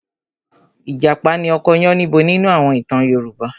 Ìjàpá ni ọkọ Yánníbo nínú àwọn ìtàn Yorùbá.